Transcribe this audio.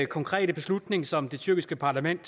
konkrete beslutning som det tyrkiske parlament